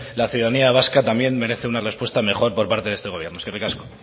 la ciudadanía vasca también merece una respuesta mejor parte de este gobierno eskerrik asko